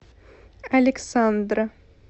александра